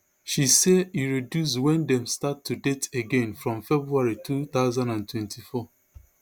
she say e reduce wen dem start to date again from february two thousand and twenty-four